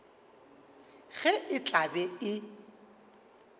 ge e tla be e